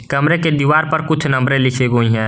कमरे के दीवार पर कुछ नंबरें लिखी हुई हैं।